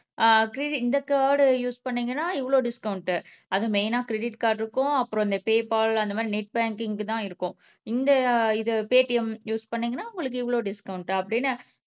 ஆஹ் கிரி இந்த card use பண்ணிங்கனா இவ்ளோ டிஸ்கவுண்ட்டு அதுவும் மெய்னா க்ரிடிட் கார்டுக்கும் அப்புறம் இந்த பே கால் அப்புறம் அந்த மாதிரி நெட் பாங்கிங்க்கும் தான் இருக்கும் இந்த இது பேடிஎம் யூஸ் பண்ணிங்கனா உங்களுக்கு இவ்ளோ டிஸ்கவுண்ட் அப்பிடின்னு